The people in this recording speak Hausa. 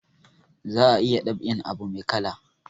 Za a iya dab'in abu mai kala